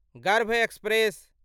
गर्भ एक्सप्रेस